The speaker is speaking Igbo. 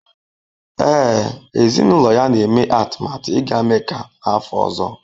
Ee, ezinụlọ ya na-eme atụmatụ ịga Mecca n’afọ ọzọ.